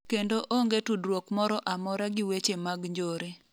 kendo onge tudruok moro amora gi weche mag njore